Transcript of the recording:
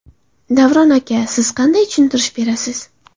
Davron aka siz qanday tushuntirish berasiz?